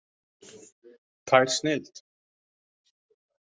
Tær snilld!